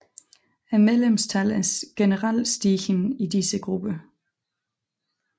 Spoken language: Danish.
Medlemstallet er generelt stigende i disse grupper